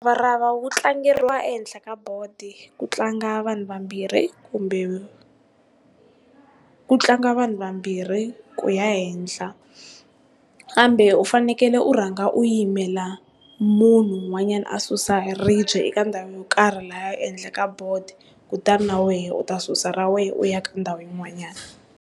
Muravarava wu tlangeriwa ehenhla ka bodo, ku tlanga vanhu vambirhi kumbe ku tlanga vanhu vambirhi ku ya henhla, kambe u fanekele u rhanga u yimela munhu un'wanyana a susa ribye eka ndhawu yo karhi lahaya ehenhla ka bodo kutani na wena u ta susa ra wehe u ya ka ndhawu yin'wanyana.